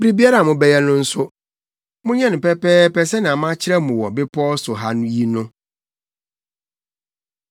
Biribiara a mobɛyɛ no nso, monyɛ no pɛpɛɛpɛ sɛnea makyerɛ mo wɔ bepɔw so ha yi no.